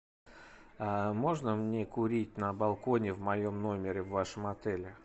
можно мне курить на балконе в моем номере в вашем отеле